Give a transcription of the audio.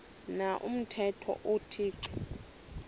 na umthetho uthixo